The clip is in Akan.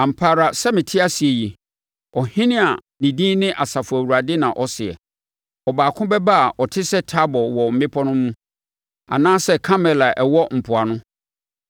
“Ampa ara sɛ mete ase yi” Ɔhene a ne din ne Asafo Awurade na ɔseɛ, “Ɔbaako bɛba a ɔte sɛ Tabor wɔ mmepɔ no mu, anaasɛ Karmel a ɛwɔ mpoano.